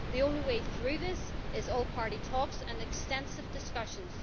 The only way through this is all party talks and extensive discussions.